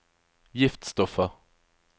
giftstoffer